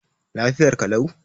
Lafiyar ka lau?